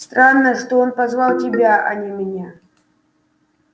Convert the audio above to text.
странно что он позвал тебя а не меня